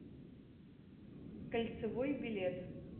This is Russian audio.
кольцевой билет